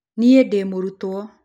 Nĩe ndĩ mũrutwo